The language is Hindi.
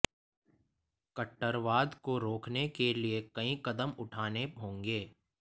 कट्टरवाद को रोकने के लिए कई कदम उठाने होंगे